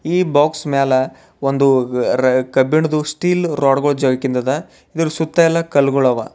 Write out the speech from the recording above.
ಈ ಬಾಕ್ಸ್ ಮ್ಯಾಲೆ ಒಂದು ಕಬ್ಬಿಣದು ಸ್ಟೀಲ್ ರಾಡ್ಗಳು ಜೋಯ್ಕಿಂದದೆ ಇದರ ಸುತ್ತ ಎಲ್ಲ ಕಲ್ಲುಗಳಿವೆ.